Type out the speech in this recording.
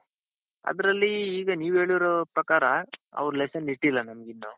ಅದ್ರಲ್ಲಿ ಈಗ ನೀವ್ ಹೇಳಿರೋ ಪ್ರಕಾರ ಅವರು lesson ಇಟ್ಟಿಲ್ಲ ನಮಗಿನ್ನೂ.